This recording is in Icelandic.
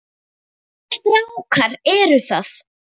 Hvaða strákar eru það?